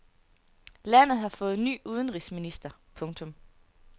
Landet har fået ny udenrigsminister. punktum